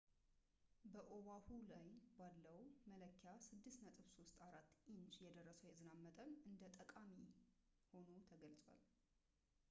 በኦዋሁ ላይ ባለው መለኪያ 6.34 ኢንች የደረሰው የዝናብ መጠን እንደ ጠቃሚ ሆኖ ተገልጿል